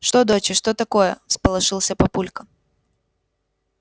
что доча что такое всполошился папулька